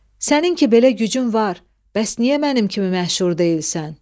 Sənin ki belə gücün var, bəs niyə mənim kimi məşhur deyilsən?